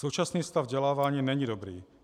Současný stav vzdělávání není dobrý.